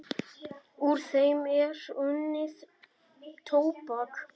Úr þeim er unnið tóbak.